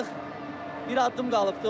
Artıq bir addım qalıbdır.